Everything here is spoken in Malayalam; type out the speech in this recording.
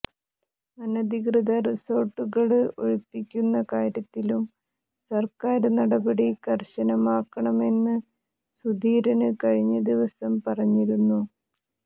അനധികൃത റിസോര്ട്ടുകള് ഒഴിപ്പിക്കുന്ന കാര്യത്തിലും സര്ക്കാര് നടപടി കര്ക്കശനമാക്കണമെന്ന് സുധീരന് കഴിഞ്ഞദിവസം പറഞ്ഞിരുന്നു